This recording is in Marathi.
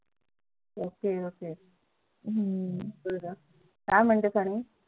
OKOK काय म्हणतात आणि